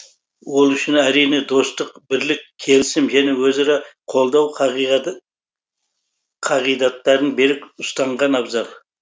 ол үшін әрине достық бірлік келісім және өзара қолдау қағидаттарын берік ұстанған абзал